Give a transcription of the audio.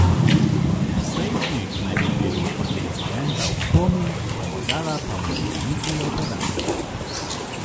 Nesrečnik naj bi bil od incidenta v komi, pomagala pa mu ni niti operacija.